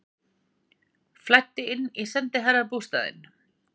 Flæddi inn í sendiherrabústaðinn